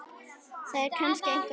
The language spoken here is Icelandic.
Það er kannski einhver annar.